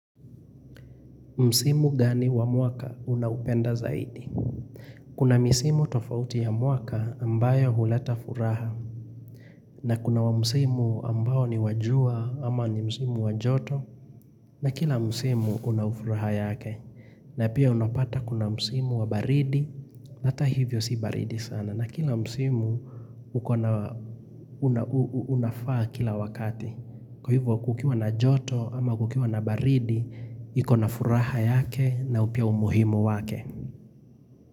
Msimu gani wa mwaka unaupenda zaidi? Kuna misimu tofauti ya mwaka ambayo huleta furaha. Na kuna wa msimu ambao ni wa jua ama ni msimu wa joto. Na kila msimu una ufuraha yake. Na pia unapata kuna msimu wa baridi. Nata hivyo si baridi sana. Na kila msimu unafaa kila wakati. Kwa hivyo kukiwa na joto ama kukiwa na baridi, ikona furaha yake nao pia umuhimu wake.